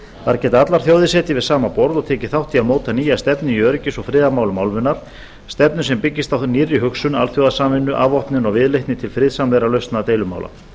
þar geta allar þjóðir setið við sama borð og tekið þátt í að móta nýja stefnu í öryggis og friðarmálum álfunnar stefnu sem byggist á nýrri hugsun alþjóðasamvinnu afvopnun og viðleitni til friðsamlegra lausna deilumála